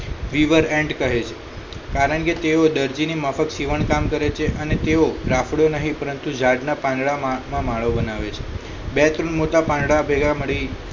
end કહે છે કારણ કે તેઓ દરજીની માફક સીવણ કામ કરે છે અને તેઓ રાફડો નહીં પરંતુ ઝાડના પાંદડામાં માળો બનાવે છે બે ત્રણ મોટા પાંદડા ભેગા મળી